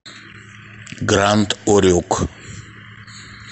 гранд урюк